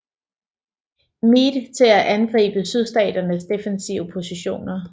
Meade til at angribe Sydstaternes defensive positioner